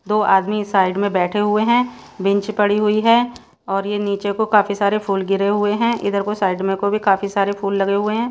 दो आदमी साइड में बैठे हुए हैं। बेंच पड़ी हुई है और यह नीचे को काफी सारे फूल गिरे हुए हैं इधर कोई साइड में को भी काफी सारे फूल लगे हुए हैं।